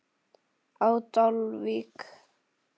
á Dalvík.